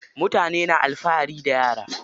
Mutane na alfahari da yara.